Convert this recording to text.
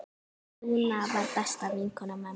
Dúna var besta vinkona mömmu.